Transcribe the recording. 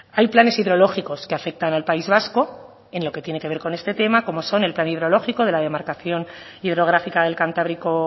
hay planes hidrológicos que afectan al país vasco en lo que tiene que ver con este tema como son el plan hidrológico de la demarcación hidrográfica del cantábrico